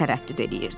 Tərəddüd eləyirdi.